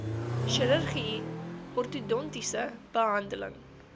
chirurgie ortodontiese behandeling